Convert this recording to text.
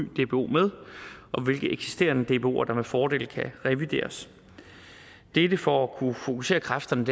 dbo med og hvilke eksisterende dboer der med fordel kan revideres dette for at kunne fokusere kræfterne